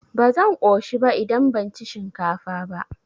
Ba zan ƙoshi ba idan ban ci shinkafa ba.